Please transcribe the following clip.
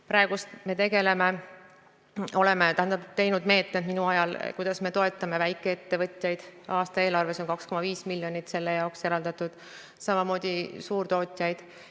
Praegu, minu ajal oleme me tegelenud meetmetega, mille abil toetada väikeettevõtjaid – aasta eelarves on selle jaoks eraldatud 2,5 miljonit –, samamoodi suurtootjaid.